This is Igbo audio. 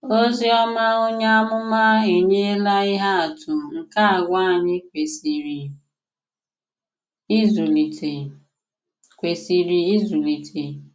Òzìòmà onye àmùmà ènỳèlà ìhé àtụ̀ nke àgwà ànyị̀ kwesìrè ìzụlìtè. kwesìrè ìzụlìtè.